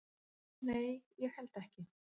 """Nei, ég held ekki."""